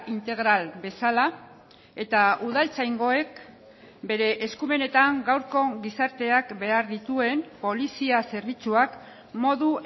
integral bezala eta udaltzaingoek bere eskumenetan gaurko gizarteak behar dituen polizia zerbitzuak modu